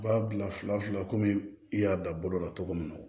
U b'a bila fila fila komi i y'a bila bolo la cogo min na